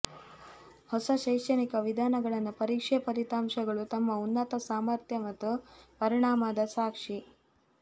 ಹೊಸ ಶೈಕ್ಷಣಿಕ ವಿಧಾನಗಳನ್ನು ಪರೀಕ್ಷೆ ಫಲಿತಾಂಶಗಳು ತಮ್ಮ ಉನ್ನತ ಸಾಮರ್ಥ್ಯ ಮತ್ತು ಪರಿಣಾಮದ ಸಾಕ್ಷಿ